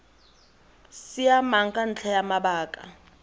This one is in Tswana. siamang ka ntlha ya mabaka